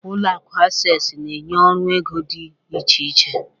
Ulọ akụ Access na-enye ọrụ ego dị iche iche.